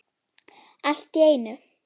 Allt í einu.